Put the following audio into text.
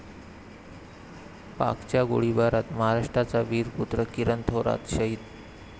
पाकच्या गोळीबारात महाराष्ट्राचा वीरपुत्र किरण थोरात शहीद